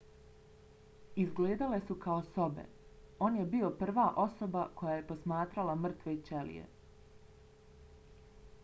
izgledale su kao sobe. on je bio prva osoba koja je posmatrala mrtve ćelije